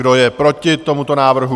Kdo je proti tomuto návrhu?